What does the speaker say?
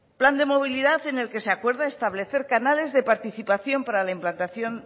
plan de movilidad en el que se acuerda establecer canales de participación para la implantación